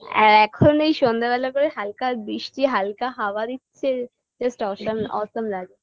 এ এখন এই সন্ধেবেলা করে হালকা বৃষ্টি হালকা হাওয়া দিচ্ছে just awesom awesome লাগে